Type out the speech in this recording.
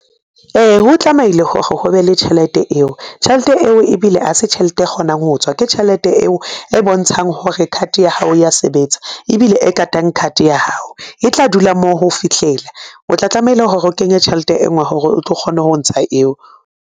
Ee, ho tlamehile hore ho be le tjhelete eo, tjhelete eo ebile ha se tjhelete e kgonang ho tswa ke tjhelete eo e bontshang hore card ya hao ya sebetsa ebile e katang card ya hao e tla dula moo ho fihlela. O tla tlamehile hore o kenye tjhelete e nngwe hore o tlo kgone ho ntsha eo.